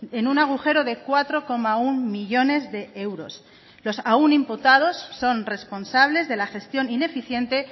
en un agujero de cuatro coma uno millónes de euros los aun imputados son responsables de la gestión ineficiente